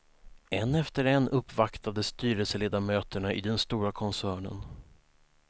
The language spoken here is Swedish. En efter en uppvaktades styrelseledamöterna i den stora koncernen.